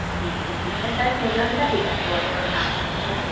main ତଅ season ତଅ ସେଟା ବର୍ଷ ମାସ ହେଲା